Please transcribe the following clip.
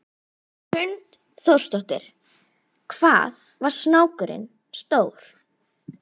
Hrund Þórsdóttir: Hvað var snákurinn stór?